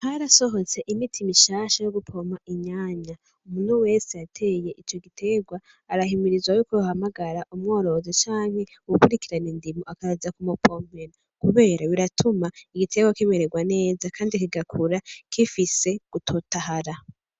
Harasohotse imiti mishasha yo gupompa inyanya, umuntu wese yateye ico giterwa arahimirizwa yuko yohamagra umworozi canke uwukurikirana indimo akaza kumupompera, kubera biratuma igiterwa kumererwa neza kandi kigakura gifise gutotahara.